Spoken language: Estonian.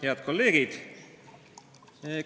Head kolleegid!